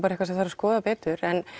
eitthvað sem þarf að skoða betur en